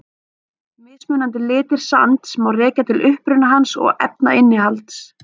Mismunandi litir sands má rekja til uppruna hans og efnainnihalds.